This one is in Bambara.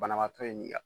Banabaatɔ ye